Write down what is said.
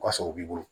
Ka sɔrɔ u b'i bolo